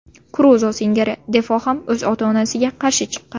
Kruzo singari Defo ham o‘z ota-onasiga qarshi chiqqan.